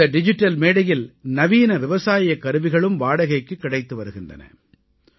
இந்த டிஜிட்டல் மேடையில் நவீன விவசாயக் கருவிகளும் வாடகைக்குக் கிடைத்து வருகின்றன